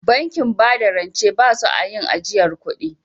Bankin bada rance ba su a yin ajiyar kudi